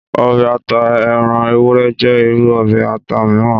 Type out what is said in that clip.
Ọbẹ̀ ata ẹran ewúré jẹ́ irú ọbẹ̀ ata miran.